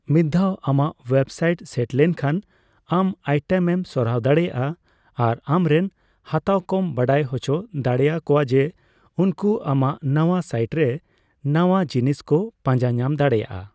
ᱢᱤᱫ ᱫᱷᱟᱣ ᱟᱢᱟᱜ ᱳᱭᱮᱵᱽᱥᱟᱭᱤᱴ ᱥᱮᱴ ᱞᱮᱱ ᱠᱷᱟᱱ ᱟᱢ ᱟᱭᱴᱮᱢ ᱮᱢ ᱥᱚᱨᱟᱣ ᱫᱟᱲᱮᱭᱟᱜᱼᱟ ᱟᱨ ᱟᱢᱨᱮᱱ ᱦᱟᱛᱟᱣᱠᱚᱢ ᱵᱟᱰᱟᱭ ᱦᱚᱪᱚ ᱫᱟᱲᱮᱭᱟ ᱠᱚᱣᱟ ᱡᱮ ᱩᱱᱠᱩ ᱟᱢᱟᱜ ᱱᱟᱣᱟ ᱥᱟᱭᱤᱴᱨᱮ ᱱᱟᱣᱟ ᱡᱤᱱᱤᱥᱠᱚ ᱯᱟᱸᱡᱟ ᱧᱟᱢ ᱫᱟᱲᱮᱭᱟᱜᱼᱟ ᱾